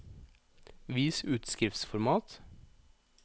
Vis utskriftsformat